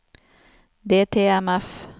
DTMF